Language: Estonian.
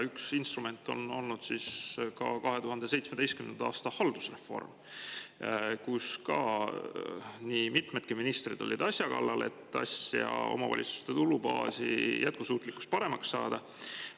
Üks instrument oli ka 2017. aasta haldusreform, mille käigus olid ka mitmed ministrid asja kallal, et omavalitsuste tulubaasi jätkusuutlikkus paremaks saada.